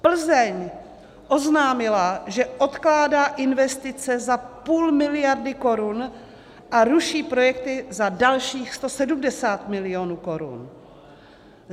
Plzeň oznámila, že odkládá investice za půl miliardy korun a ruší projekty za dalších 170 milionů korun.